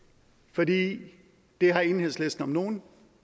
for det har enhedslisten om nogen